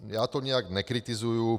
Já to nějak nekritizuji.